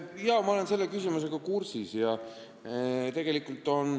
Jah, ma olen selle küsimusega kursis.